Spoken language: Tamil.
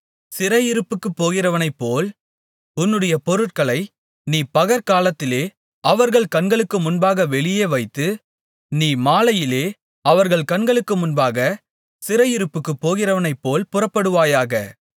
சிறையிருப்புக்குப் போகிறவனைப்போல் உன்னுடைய பொருட்களை நீ பகற்காலத்திலே அவர்கள் கண்களுக்கு முன்பாக வெளியே வைத்து நீ மாலையிலே அவர்கள் கண்களுக்கு முன்பாகச் சிறையிருப்புக்குப் போகிறவனைப்போல் புறப்படுவாயாக